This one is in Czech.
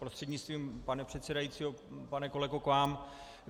Prostřednictvím pana předsedajícího pane kolego k vám.